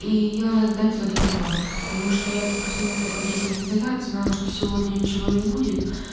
и ей нужно задать этот вопрос потому что я-то проснулась только десять минут назад знала что сегодня ничего не будет